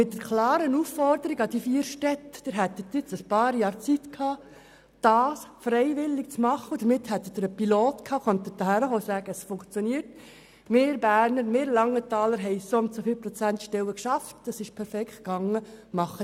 Die vier Städte hätten einige Jahre Zeit gehabt, ihr Vorhaben freiwillig im Rahmen eines Pilotprojekts umzusetzen und hier vorzuweisen, dass zum Beispiel Bern oder Langenthal soundso viele Stellen geschaffen haben.